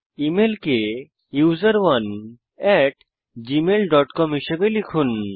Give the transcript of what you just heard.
email কে user one at Gmail dot com হিসাবে লিখুন